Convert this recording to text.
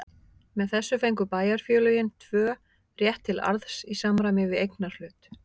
Með þessu fengu bæjarfélögin tvö rétt til arðs í samræmi við eignarhlut.